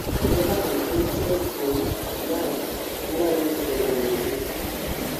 everton en achiel kuom klab malaro ndiko jamonji